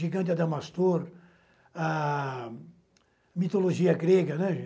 Gigante Adamastor, a mitologia grega, né, gente?